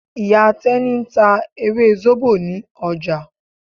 Ìyá Tẹ́ní ń ta ewé zobo ní ọjà.